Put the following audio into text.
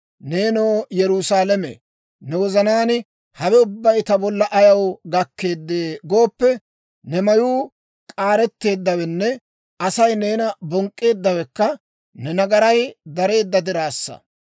Neenoo Yerusaalame, ne wozanaan, ‹Hawe ubbay ta bolla ayaw gakkeedee?› gooppe, ne mayuu k'aareteeddawenne Asay neena bonk'k'eeddawekka ne nagaray dareedda diraassa.